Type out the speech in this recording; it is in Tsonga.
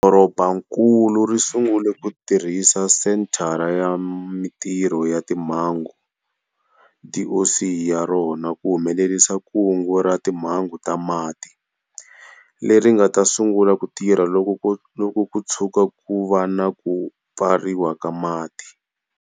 Dorobankulu ri sungule ku tirhisa Senthara ya Mitirho ya Timhangu, DOC, ya rona ku humelerisa Kungu ra Timhangu ta Mati, leri nga ta sungula ku tirha loko ku tshuka ku va na Ku Pfariwa ka Mati.